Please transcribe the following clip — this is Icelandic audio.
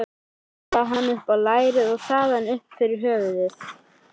Galdraði hann upp á lærið og þaðan upp fyrir höfuðið.